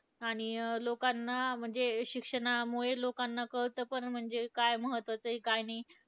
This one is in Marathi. आणि लोकांना म्हणजे, शिक्षणामुळे लोकांना कळतं पण म्हणजे काय महत्वाचं आहे काय नाही.